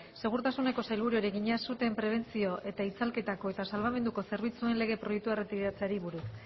segurtasuneko sailburuari egina suteen prebentzio eta itzalketako eta salbamenduko zerbitzuen lege proiektua erretiratzeari buruz